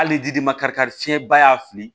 Hali fiɲɛ ba y'a fili